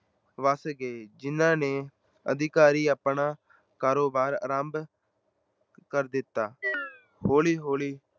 ਵੱਸ ਗਏ, ਜਿੰਨ੍ਹਾ ਨੇ ਅਧਿਕਾਰੀ ਆਪਣਾ ਕਾਰੋਬਾਰ ਆਰੰਭ ਕਰ ਦਿੱਤਾ ਹੌਲੀ-ਹੌਲੀ